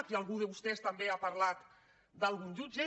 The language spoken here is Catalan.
aquí algú de vostès també ha parlat d’algun jutge